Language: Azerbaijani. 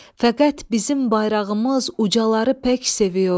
fəqət bizim bayrağımız ucaları pək seviyor.